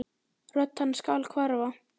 Rödd hans skal hverfa.